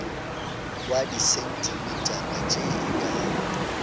wa disentimetara tše e ka